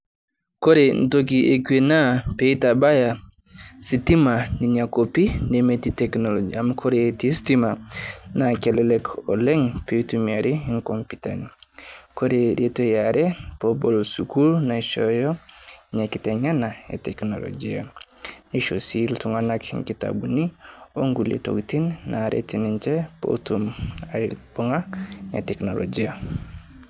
Kore ntokii ekwee naa pee etabaaya stimaa nenia koopi nemetii teknolojia. Amu kore etii stima na kelelek oleng pee itumiari komputani. Kore reeto aare poo obool sukuul naishhooyo enia kiteng'ena e teknolijia. Neishoo sii ltung'anak nkitabuuni onkulee ntokitin naaret ninchee pootum aibung'aa enia teknolojia.